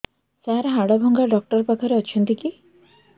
ସାର ହାଡଭଙ୍ଗା ଡକ୍ଟର ପାଖରେ ଅଛନ୍ତି କି